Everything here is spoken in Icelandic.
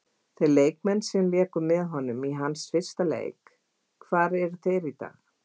Þeir leikmenn sem léku með honum í hans fyrsta leik, hvar eru þeir í dag?